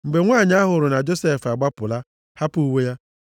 Mgbe nwanyị a hụrụ na Josef agbapụla, hapụ uwe ya,